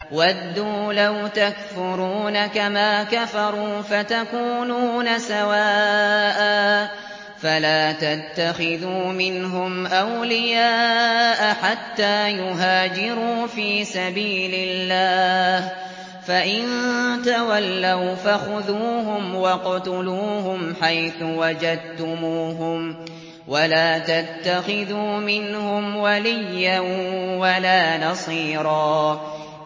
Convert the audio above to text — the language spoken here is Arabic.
وَدُّوا لَوْ تَكْفُرُونَ كَمَا كَفَرُوا فَتَكُونُونَ سَوَاءً ۖ فَلَا تَتَّخِذُوا مِنْهُمْ أَوْلِيَاءَ حَتَّىٰ يُهَاجِرُوا فِي سَبِيلِ اللَّهِ ۚ فَإِن تَوَلَّوْا فَخُذُوهُمْ وَاقْتُلُوهُمْ حَيْثُ وَجَدتُّمُوهُمْ ۖ وَلَا تَتَّخِذُوا مِنْهُمْ وَلِيًّا وَلَا نَصِيرًا